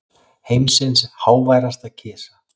Heimsins háværasta kisa